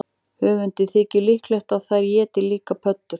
Höfundi þykir líklegt að þær éti líka pöddur.